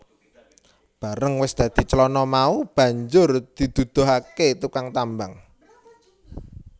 Bareng wis dadi clana mau banjur diduduhake tukang tambang